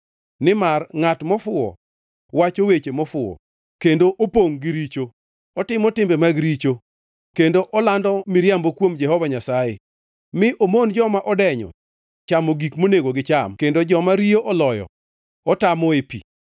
Nimar ngʼat mofuwo wacho weche mofuwo, kendo opongʼ gi richo: Otimo timbe mag richo kendo olando miriambo kuom Jehova Nyasaye; mi omon joma odenyo chamo gik monego gicham kendo joma riyo oloyo otamoe pi.